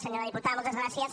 senyora diputada moltes gràcies